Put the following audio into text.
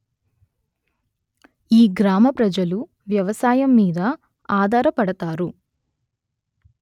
ఈ గ్రామ ప్రజలు వ్యవసాయము మీద అధార పడతారు